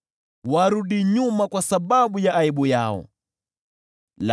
Wale waniambiao, “Aha! Aha!” warudi nyuma kwa sababu ya aibu yao.